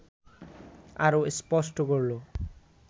আরও স্পষ্ট করল